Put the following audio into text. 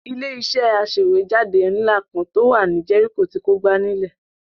Ilé-iṣẹ́ aṣèwéjádé ńlá kan tó wà ní Jẹ́ríkò ti kógbá nílẹ̀.